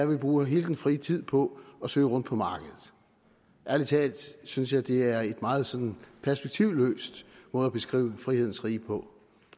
vi bruger hele den frie tid på at søge rundt på markedet ærlig talt synes jeg det er en meget sådan perspektivløs måde at beskrive frihedens rige på